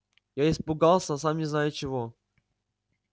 я испугался сам не зная чего